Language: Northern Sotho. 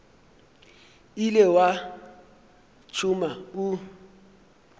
ile wa o tšhuma o